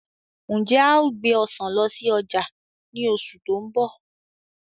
Ǹjẹ́ a ó gbé Ọ̀sán lọ sí ọjà ni oṣù tó ń bọ̀?